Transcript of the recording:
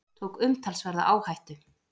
Tók umtalsverða áhættu